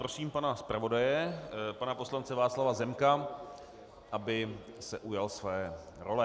Prosím pana zpravodaje pana poslance Václava Zemka, aby se ujal své role.